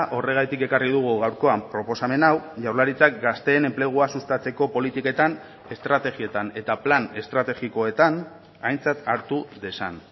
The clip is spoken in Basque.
horregatik ekarri dugu gaurkoan proposamen hau jaurlaritzak gazteen enplegua sustatzeko politiketan estrategietan eta plan estrategikoetan aintzat hartu dezan